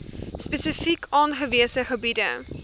spesifiek aangewese gebiede